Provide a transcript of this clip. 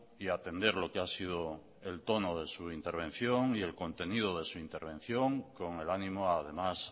y atender lo que ha sido el tono de su intervención y el contenido de su intervención con el ánimo además